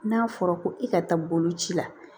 N'a fɔra ko i ka taa boloci la